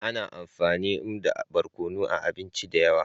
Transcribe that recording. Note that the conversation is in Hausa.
Ana amfani nmda barkonu a abinci da yawa.